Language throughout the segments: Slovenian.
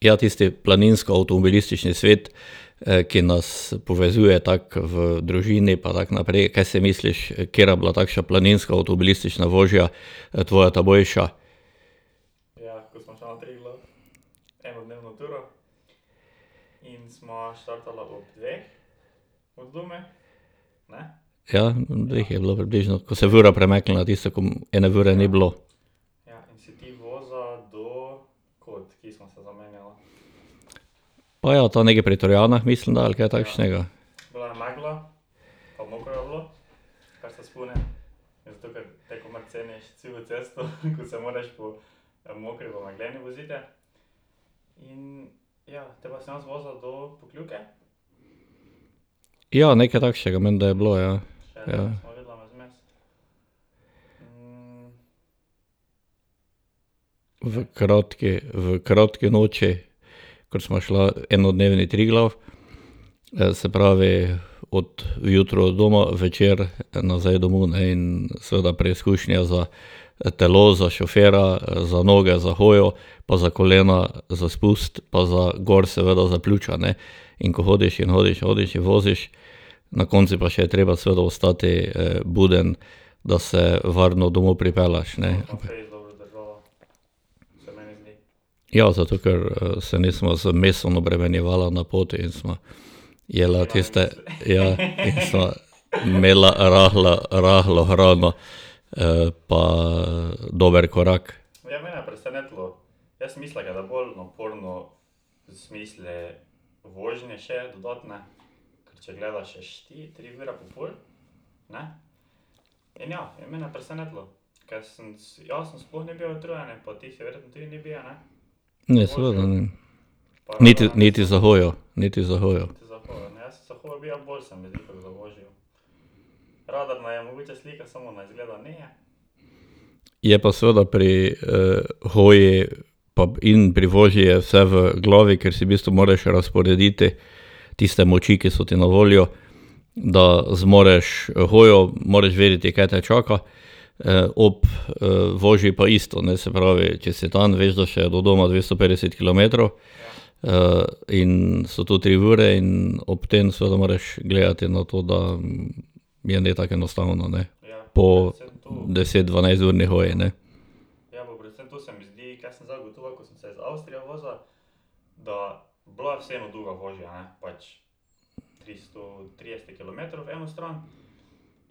Ja, tisti planinsko-avtomobilistični svet, ki nas povezuje tako v družini pa tako naprej, kaj si misliš, katera je bila takšna planinska avtomobilistična vožnja, tvoja ta boljša? Ja, teh je bilo približno, ko se je ura premaknila, tisto, ko ene ure ni bilo. ja, tam neki pri Trojanah, mislim, da ali kaj takšnega ... Ja, nekaj takšega menda je bilo, ja. Ja. V kratki, v kratki noči, ko sva šla enodnevni Triglav, se pravi, od, jutro od doma, večer nazaj domov, ne, in seveda preizkušnja za za telo, za šoferja, za noge, za hojo, pa za kolena, za spust, pa za gor seveda za pljuča, ne. In ko hodiš in hodiš, hodiš in voziš, na koncu je pa še treba seveda ostati buden, da se varno domov pripelješ, ne. Ja, zato ker se nisva z mesom obremenjevala na poti in sva jedla tiste imela rahlo, rahlo hrano, . pa dober korak. Ne, seveda Niti, niti za hojo, niti za hojo. Je pa seveda pri hoji pa in pri vožnji je vse v glavi, ker si v bistvu moraš razporediti tiste moči, ki so ti na voljo. Da zmoreš hojo, moraš vedeti, kaj te čaka. ob vožnji pa isto, ne, se pravi, če si tam, veš, da še do doma dvesto petdeset kilometrov. in so to tri ure in ob tem seveda moraš gledati na to, da je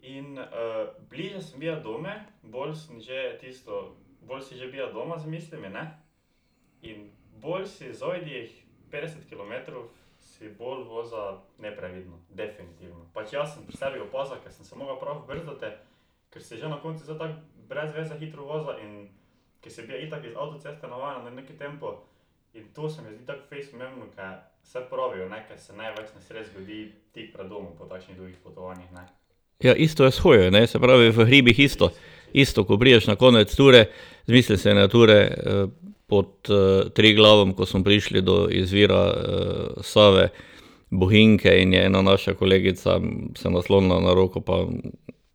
ne tako enostavno, ne. Po deset-, dvanajsturni hoji, ne. Ker isto je s hojo, ne, se pravi, v hribih isto. Isto, ko prideš na konec ture, Zmislim si ene ture, pod Triglavom, ko smo prišli do izvira Save Bohinjke in je ena naša kolegica se naslonila na roko pa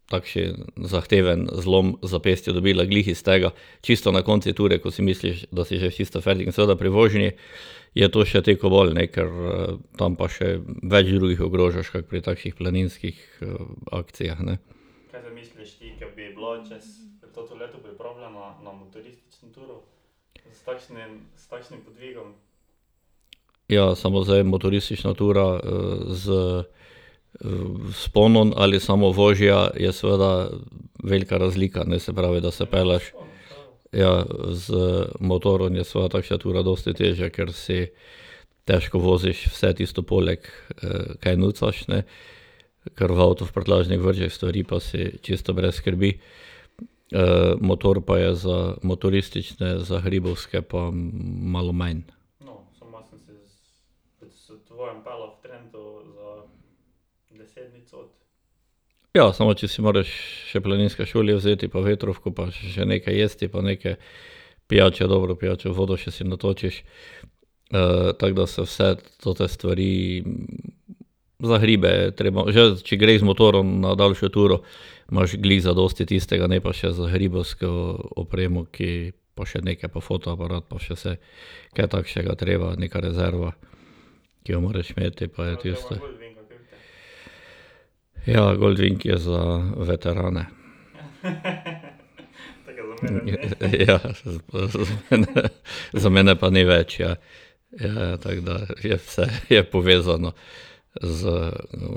takši zahteven zlom zapestja dobila, glih iz tega, čisto na koncu ture, ko si misliš, da si že čisto fertik, in seveda pri vožnji je to še toliko bolj, ne, ker tam pa še več drugih ogrožaš kak pri takših planinskih akcijah, ne. Ja, samo zdaj motoristična tura z vzponom ali samo vožnja je seveda velika razlika, ne, se pravi, da se pelješ ... Ja, z motorjem je seveda takšna tura dosti težja, ker si težko voziš, vse tisto poleg, kaj nucaš, ne. Ker v avto v prtljažnik vržeš stvari, pa si čisto brez skrbi. motor pa je za motoristične, za hribovske pa malo manj. Ja, samo če si moraš še planinske šolje vzeti, pa vetrovko pa še nekaj jesti pa nekaj pijačo, dobro, pijačo, vodo še si natočiš, tako da se vse tote stvari ... Za hribe je treba, že če greš z motorjem na daljšo turo, imaš glih zadosti tistega, ne pa še za hribovsko opremo, ki pa še nekaj, pa fotoaparat pa še vse. Kaj je takšnega treba, neka rezerva, ki jo moraš imeti pa . Ja, Gold Wing je za veterane. Za mene pa ne več, ja. Ja ja, tako da, je vse, je povezano z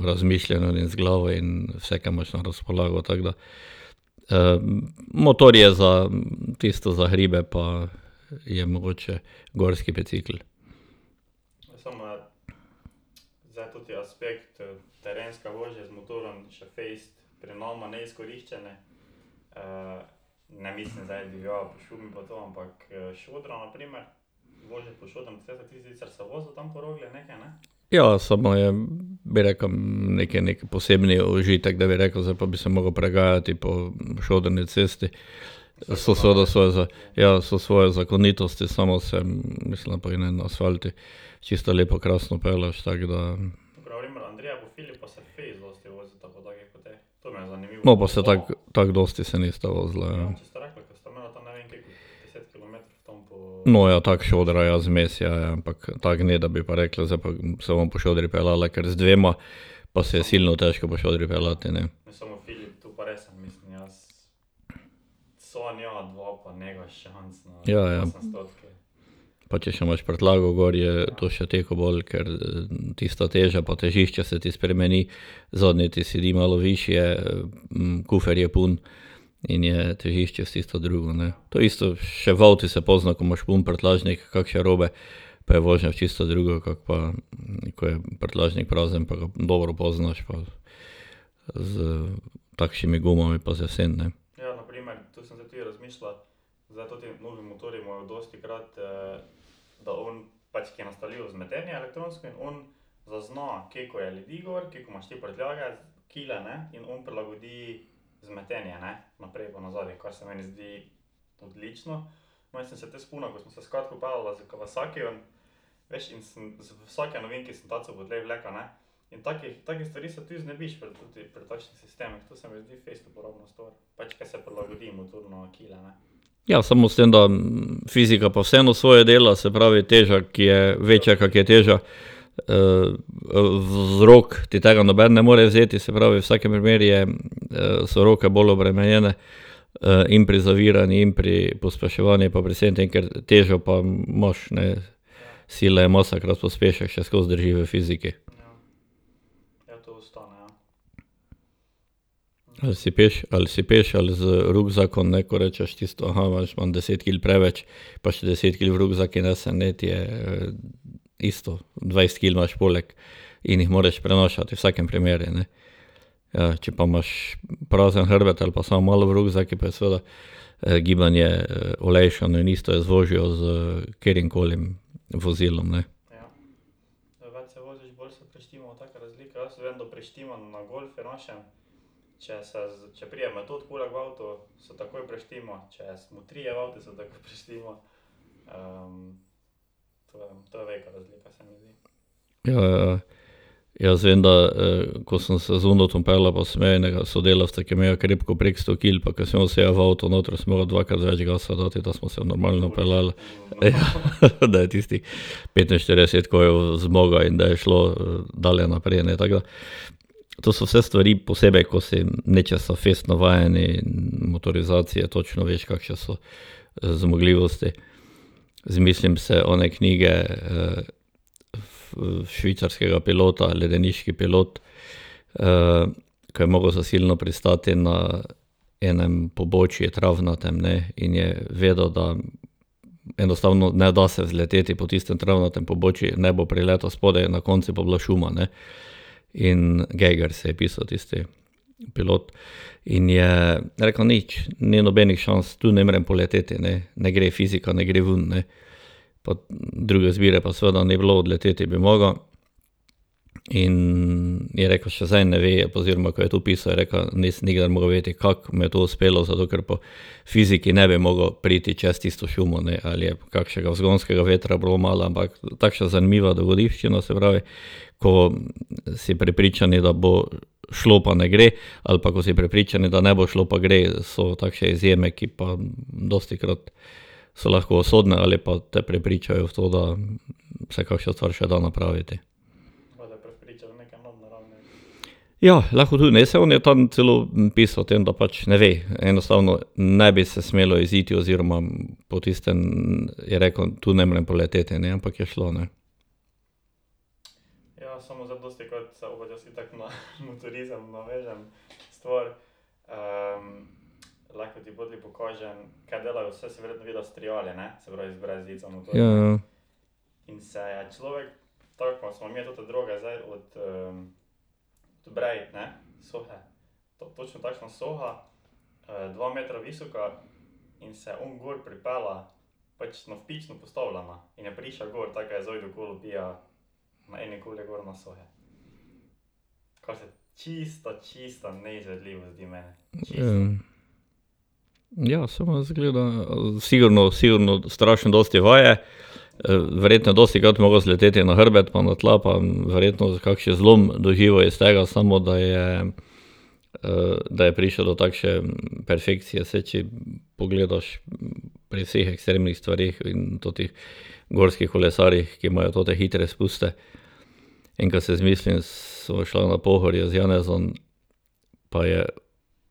razmišljanjem in z glavo in vse, kar imaš na razpolago, tako da, motor je za ... Tisto za hribe pa je mogoče gorski bicikel. Ja, samo je, bi rekel, neki neki posebni užitek, da bi rekel, zdaj pa bi se mogel preganjati po šoderni cesti. Ja, z vso svojo zakonitostjo, samo sem na asfaltu. Čisto lepo, krasno pelješ, tako da ... No, pa saj tako, tako dosti se nista vozila, ja. No, ja, tako šodra, ja, zmes, ja, ja, ampak tako ne, da bi pa rekla: "Zdaj pa se bom po šodru peljala." Ker z dvema pa se je silno težko po šodru peljati, ne. Ja, ja. Pa če še imaš prtljago gor, je to še toliko bolj, ker tista teža pa težišče se ti spremeni, zadnji ti sedi malo višje, kufer je poln. In je težišče čisto drugo, ne. To je isto, še v avtu se pozna, ko moraš vun prtljažnik kakšne robe, prevaža čisto drugo kak pa, ko je prtljažnik prazen pa ga dobro poznaš pa s takšimi gumami pa z vsem, ne. Ja, samo s tem, da fizika pa vseeno svoje dela, se pravi teža, ki je večja, kak je teža z rok ti tega noben ne more vzeti, se pravi, v vsakem primeru je, so roke bolj obremenjene. in pri in pri pospeševanju, pa predvsem tem, ker težo pa imaš, ne. Sila je masa krat pospešek, še skozi drži v fiziki. Ali si peš, ali si peš ali z rukzakom, ne, ko rečeš tisto: imaš, imam deset kil preveč." Pa še deset kil v rukzaku isto, dvajset kil imaš poleg in jih moraš prenašati v vsakem primeru, ne. če pa imaš prazen hrbet ali pa samo malo v rukzaku, pa seveda gibanje olajšano, in isto je z vožnjo s katerimkoli vozilom, ne. Ja, ja, ja. Jaz vem, da ko sem se z peljal pa sem enega sodelavca, ki je imel krepko prek sto kil, pa ke se je on usedel v avto noter, sem mogel dvakrat več gasa dati, da sva se normalno peljala. , da je tisti petinštirideset, ko je on zmogel, in da je šlo dalje naprej, ne, tako da to so vse stvari posebej, ko se jim, nečesa fejst navajeni in motorizacije, točno veš, kakše so zmogljivosti. Zmislim se one knjige, švicarskega pilota, Ledeniški pilot, ke je mogel zasilno pristati na enem pobočju travnatem, ne, in je vedel, da enostavno ne da se vzleteti po tistem travnatem pobočju in ne bo priletel spodaj, na koncu je pa bila šuma, ne. In Geigers se je pisal tisti pilot. In je rekel: "Nič, ni nobenih šans, tu ne morem poleteti, ne. Ne gre, fizika ne gre ven, ne." Pa druge izbire pa seveda ni bilo, odleteti bi mogel, in je rekel, še zdaj ne ve, oziroma ko je to pisal, je rekel: "Nisem nikdar mogel verjeti, kako mi je to uspelo." Zato ker po fiziki ne bi mogel priti čez tisto šumo, ne, ali je kakšnega vzgonskega vetra bilo malo, ampak takša zanimiva dogodivščina, se pravi, ko si prepričan, da bo šlo, pa ne gre, ali pa ko si prepričan, da ne bo šlo, pa gre, so takše izjeme, ki pa dostikrat so lahko usodne ali pa te prepričajo v to, da se kakša stvar še da napraviti. Ja, lahko tudi, ne, saj on je tam celo pisal o tem, da pač ne ve, enostavno ne bi se smelo iziti oziroma po tistem je rekel: "Tu ne morem poleteti." Ne, ampak je šlo, ne. Ja, ja, ja. Ja, ja. Ja, samo izgleda, sigurno sigurno strašno dosti vaje, verjetno je dostikrat mogel zleteti na hrbet pa na tla pa verjetno kakšen zlom doživel iz tega, samo da je, da je prišel do takšne perfekcije, saj če pogledaš pri vseh ekstremnih stvareh, in totih gorskih kolesarjih, ki imajo tote hitre spuste. Enkrat, se zmislim, sva šla na Pohorje z Janezom, pa je,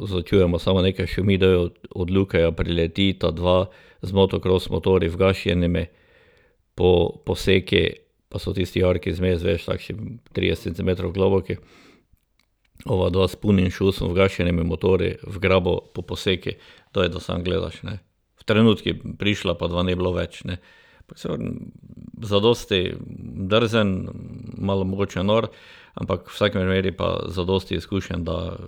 začujeva, samo nekaj šumi, da od Lukeja priletita dva z motokros motorji, ugasnjenimi, po poseki pa so tisti jarki zmes, veš, takši trideset centimetrov globoki, ovadva s polnim šusom z ugasnjenimi motorji, v grabo po poseki. To je, da samo gledaš, ne. V trenutku prišla, pa dva ni bilo več, ne. zadosti drzen, malo mogoče nor, ampak v vsakem primeru pa zadosti izkušenj, da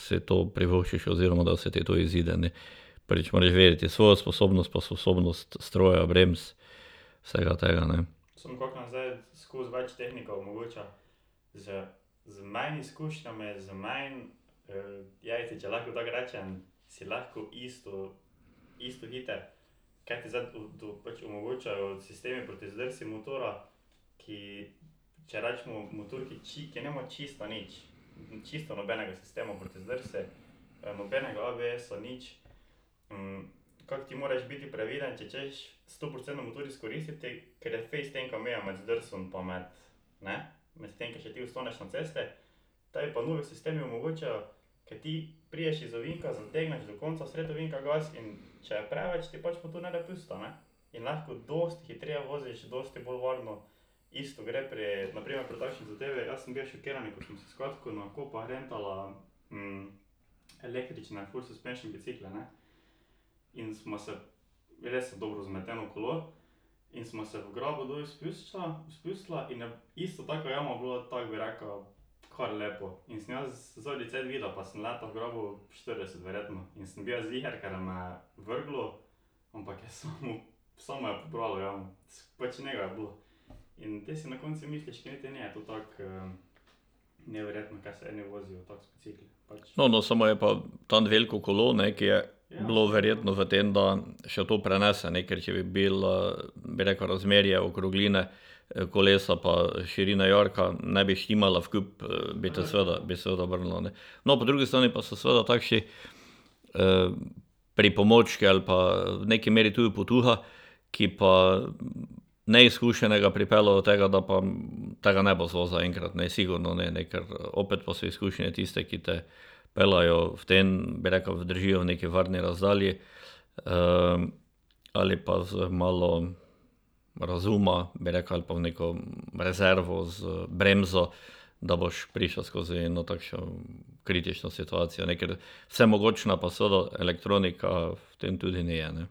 si to privoščiš oziroma da se ti to izide, ne. Prvič moraš vedeti svojo sposobnost pa sposobnost stroja, bremz, vsega tega, ne. No, no, samo je pa tam veliko kolo, ne, ki je bilo verjetno v tem, da še to prenese nekaj, če bi bila, bi rekel, razmerje okrogline kolesa pa širine jarka, ne bi štimala vkup bi te seveda, bi te seveda obrnilo, ne. No, po drugi strani pa so seveda takši pripomočki ali pa v neki meri tudi potuha, ki pa neizkušenega pripeljejo do tega, da pa tega ne bo zvozil enkrat, ne, sigurno ne, ker opet so pa izkušnje tiste, ki te peljejo v tem, bi rekel, obdržijo na neki varni razdalji, ali pa z malo razuma, bi rekel, ali pa neko rezervo z bremzo, da boš prišel skozi eno takšo kritično situacijo, ne, ker vsemogočna pa seveda elektronika v tem tudi ni, ne.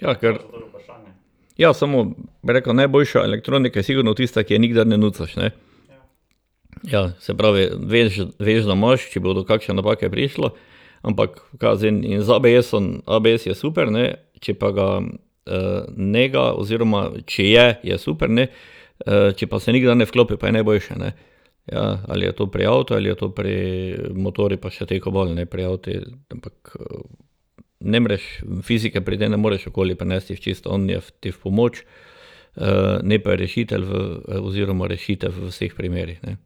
Ja, ker ... Ja, samo, bi rekel, najboljša elektronika je sigurno tista, ki je nikdar ne nucaš, ne. Ja, se pravi, veš, veš, da imaš, če bo do kakšne napake prišlo, ampak, kaj jaz vem, in z ABS-om, ABS je super, ne, če pa ga ni oziroma če je, je super, ne, če pa se nikdar ne vklopi, je pa najboljše, ne. Ja, ali je to pri avtu ali je to pri motorju, pa še toliko bolj, ne, pri avtu je, ampak, ... Ne moreš, fizike pri tem ne moreš okoli prinesti, on je ti v pomoč, ne pa rešitelj v, oziroma rešitelj v vseh primerih, ne.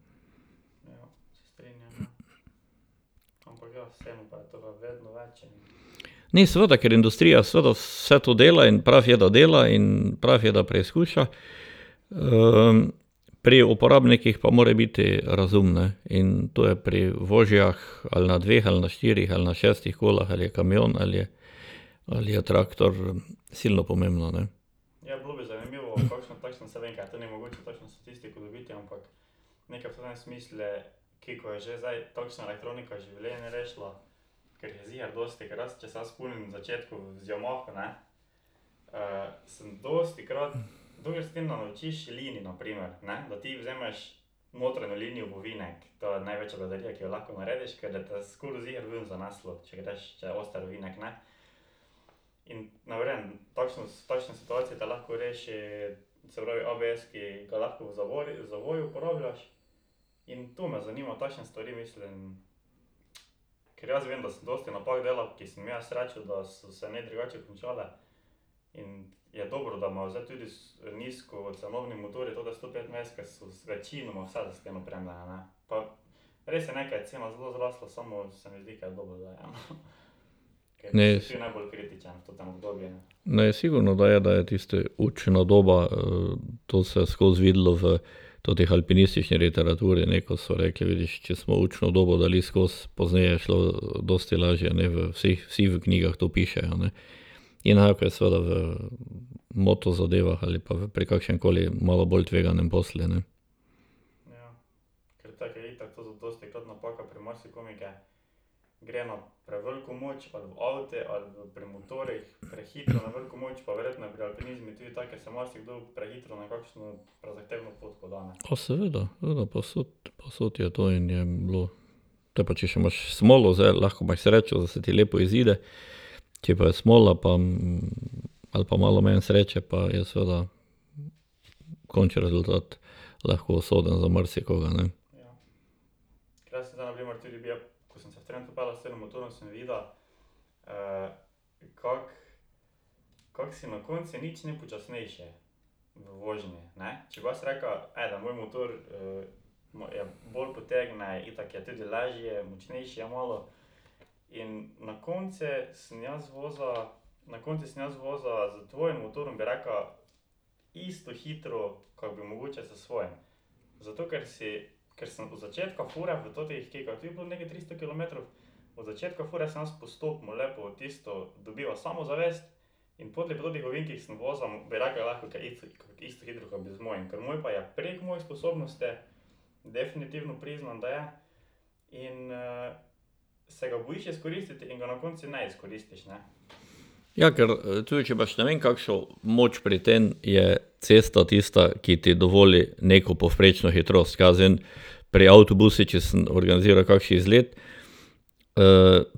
Ne, seveda, ker je industrija, seveda, vse to dela in prav je, da dela, in prav je, da preizkuša, pri uporabnikih pa mora biti razum, ne, in to je pri vožnjah, ali na dveh ali na štirih ali na šestih kolah ali je kamion ali je, ali je traktor, silno pomembno, ne. Ne ... Ne, sigurno, da je, da je tista učna doba, to se je skozi videlo v toti alpinistični literaturi, ne, to ke so rekli: "Vidiš, če smo učno dobo dali skozi, pozneje je šlo dosti lažje." Ne, v vseh, vsi v knjigah to pišejo, ne. Enako je seveda v moto zadevah ali pa pri kakšnem koli malo bolj tveganem poslu, ne. seveda, seveda, povsod, povsod je to in je bilo ... Tako pa, če še imaš smolo zdaj, lahko imaš srečo, da se ti lepo izide, če pa je smola, pa, ali pa malo manj sreče, pa je seveda končni rezultat lahko usoden za marsikoga, ne. Ja, ker tudi če imaš ne vem kakšo moč pri tem, je cesta tista, ki ti dovoli neko povprečno hitrost, ka jaz vem, pri avtobusih, če sem organiziral kakši izlet,